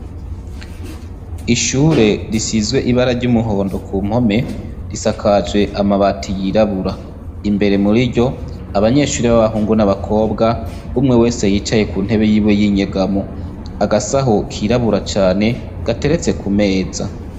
Ishure risize ibara ry' umuhondo kumpome, risakajwe amabati y' irabura, imbere muriryo abanyeshure b' abahungu n' abakobwa, umwe wese yicaye ku ntebe yiwe y' inyegamo agasaho kirabura cane gateretse kumeza.